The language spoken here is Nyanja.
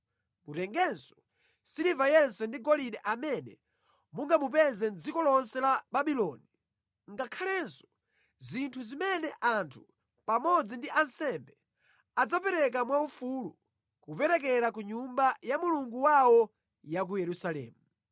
Mutengenso siliva yense ndi golide amene mungamupeze mʼdziko lonse la Babuloni, ngakhalenso zinthu zimene anthu pamodzi ndi ansembe adzapereka mwaufulu kuperekera ku Nyumba ya Mulungu wawo ya ku Yerusalemu.